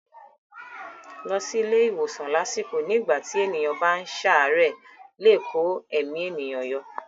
Lílọ sí ilé ìwòsàn lásìkò nígbà tí ènìyàn bá ń ṣàárẹ̀ lè kó ẹ̀mí ènìyàn yọ.